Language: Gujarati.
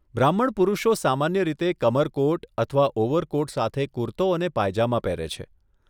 બ્રાહ્મણ પુરુષો સામાન્ય રીતે કમરકોટ અથવા ઓવરકોટ સાથે કુર્તો અને પાયજામા પહેરે છે.